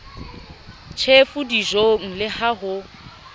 tjhefu dijong le ha ho